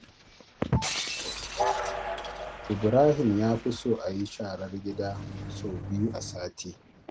Ibrahim ya fi so a yi sharar gida sau biyu a sati.